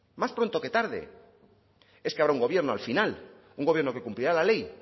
más pronto que tarde es que habrá un gobierno al final un gobierno que cumplirá la ley